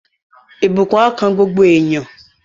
Ìbùkún á kan gbogbo èèyàn